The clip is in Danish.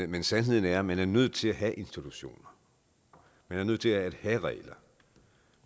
men sandheden er at man er nødt til at have institutioner man er nødt til at have regler